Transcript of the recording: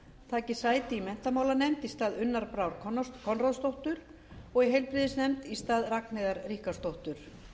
taki sæti í menntamálanefnd í stað unnar brár konráðsdóttur og í heilbrigðisnefnd í stað ragnheiðar ríkharðsdóttur